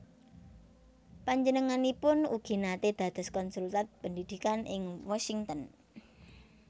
Panjenenganipun ugi naté dados Konsulat Pendidikan ing Washington